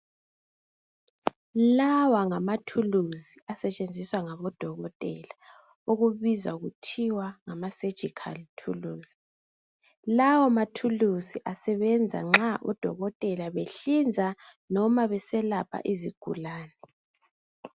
Lawa ngamathuluzi asetshenziswa ngabo dokotela okubizwa kuthwa ngama surgical thuluzi. Lawo mathuluzi asebenza nxa odokotela behlinza noma beselapha izigulane.